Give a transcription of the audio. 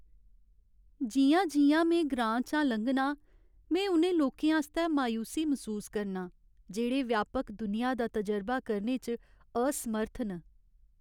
जि'यां जि'यां में ग्रांऽ चा लंघनां, में उ'नें लोकें आस्तै मायूसी मसूस करना आं जेह्ड़े व्यापक दुनिया दा तजुर्बे करने च असमर्थ न।